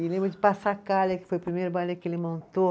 E lembro de, que foi o primeiro baile que ele montou.